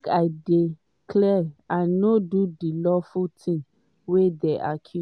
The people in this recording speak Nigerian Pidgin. make i dey clear i no do di awful tins wey dey accused.